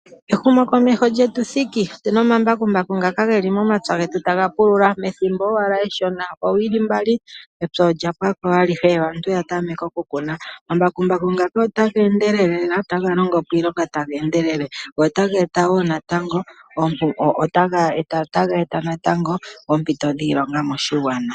Ehumo komeho lyetu thiki otuna omambakumbaku geli momapya getu taga pulula, ethimbo owala eshona . Konima yoowili mbali epya olya pwako alihe aantu oyatameke okukuna. Omambakumbaku ngaka otaga endelele notaga longo po iilonga taga endelele notaga eta oompito dhiilonga moshigwana.